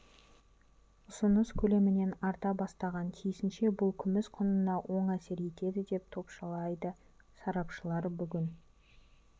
ұсыныс көлемінен арта бастаған тиісінше бұл күміс құнына оң әсер етеді деп топшылайды сарапшылар бүгін